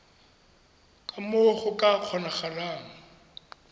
ka moo go ka kgonagalang